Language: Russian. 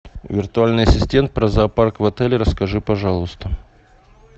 виртуальный ассистент про зоопарк в отеле расскажи пожалуйста